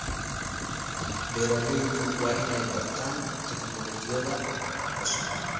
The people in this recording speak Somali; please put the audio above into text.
Beeraleydu waa inay bartaan tignoolajiyada cusub.